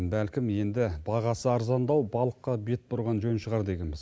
бәлкім енді бағасы арзандау балыққа бет бұрған жөн шығар дегенбіз